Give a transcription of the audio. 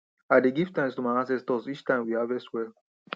i dey give thanks to my ancestors each time we harvest well